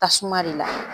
Tasuma de la